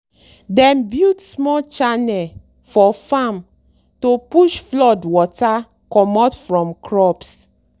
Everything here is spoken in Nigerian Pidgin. dem build small channel for farm to push flood water comot from crops